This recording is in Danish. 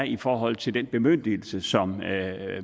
i forhold til den bemyndigelse som